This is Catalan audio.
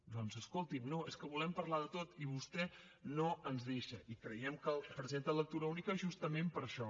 doncs escolti’m no és que volem parlar de tot i vostè no ens deixa i creiem que presenta lectura única justament per això